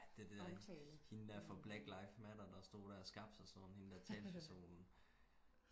ja det der hende der fra black lives matter der stod der og skabte sig sådan hende der talspersonen